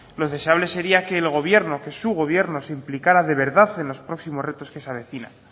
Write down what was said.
lo deseable sería que el gobierno que su gobierno se implicara de verdad en los próximos retos que se avecinan